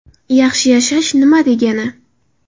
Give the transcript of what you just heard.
Yaxshi yashash nima degani?